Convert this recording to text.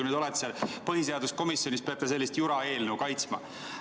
Nüüd olete põhiseaduskomisjonis, peate sellist jura eelnõu kaitsma.